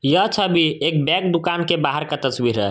यह छबि एक बैग दुकान के बाहर का तस्वीर है।